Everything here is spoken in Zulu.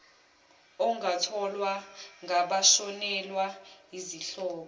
ongatholwa ngabashonelwa yizihlobo